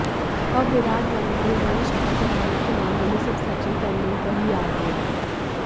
अब विराट वनडे में शतक बनाने के मामले में सिर्फ सचिन तेंडुलकर ही आगे हैं